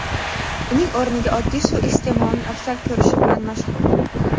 uning o‘rniga oddiy suv iste’molini afzal ko‘rishi bilan mashhur.